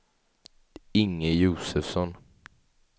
Inge Josefsson